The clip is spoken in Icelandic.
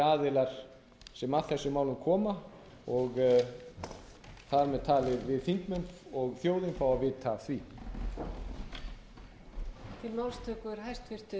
aðilar sem að þessum málum koma og þar með talið við þingmenn og þjóðin fáum að vita af því